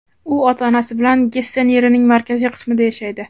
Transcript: U ota-onasi bilan Gessen yerining markaziy qismida yashaydi.